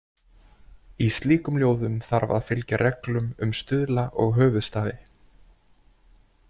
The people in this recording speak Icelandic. Í slíkum ljóðum þarf að fylgja reglum um stuðla og höfuðstafi.